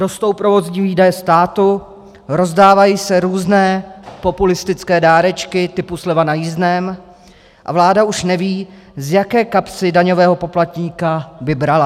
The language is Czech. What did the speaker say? Rostou provozní výdaje státu, rozdávají se různé populistické dárečky typu sleva na jízdném a vláda už neví, z jaké kapsy daňového poplatníka by brala.